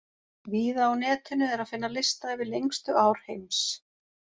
Víða á netinu er að finna lista yfir lengstu ár heims.